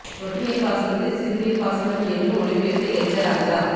சொட்டு நீர் பாசனத்தை சிறு நீர் பாசனம் என்று மொழி பெயர்த்த எச்ச ராஜா